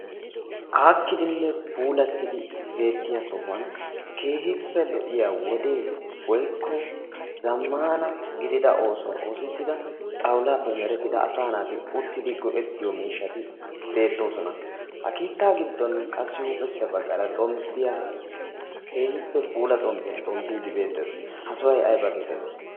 aakkidinne puulattidi beettiya sohuwan keehippe lo''iya wodee goikko zammana gidida oosuwaa oosettida xawulaappe merettida asa naati uttidi go''ettiyo miishshati beettoosona ha kiittaa giddon qassi huuphessa baggaara diya keehippe puula xomppiyan xomppidi beettees ha sohhay ayba geetettii